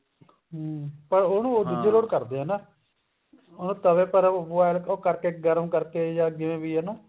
ਪਰ ਉਹਨੂੰ ਕਰਦੇ ਆ ਨਾ ਤਵੇ ਪਰ boil ਉਹ ਕਰਕੇ ਗਰਮ ਕਰਕੇ ਜਾਂ ਜਿਵੇਂ ਵੀ ਜਾਂ